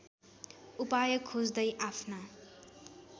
उपाय खोज्दै आफ्ना